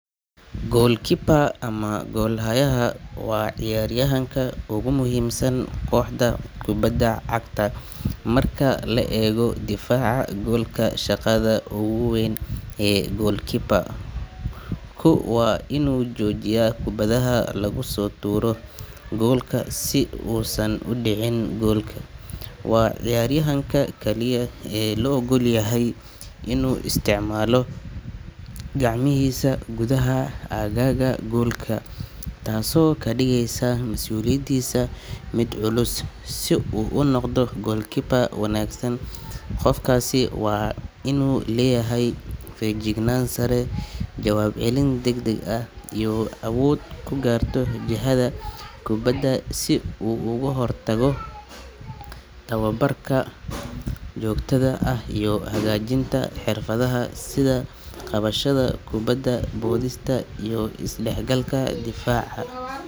Goalkeeper ama goolhayaha waa ciyaaryahanka ugu muhiimsan kooxda kubadda cagta marka la eego difaaca goolka. Shaqada ugu weyn ee goalkeeper-ku waa inuu joojiyo kubbadaha lagu soo tuuro goolka si uusan u dhicin gool. Waa ciyaaryahanka kaliya ee loo oggol yahay inuu isticmaalo gacmihiisa gudaha aagga goolka, taasoo ka dhigaysa mas’uuliyadiisa mid culus. Si uu u noqdo goalkeeper wanaagsan, qofkaasi waa inuu leeyahay feejignaan sare, jawaab celin degdeg ah, iyo awood uu ku garto jihada kubadda si uu uga hortago. Tababarka joogtada ah iyo hagaajinta xirfadaha sida qabashada kubadda, boodista, iyo is dhexgalka difaaca.